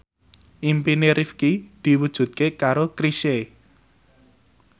impine Rifqi diwujudke karo Chrisye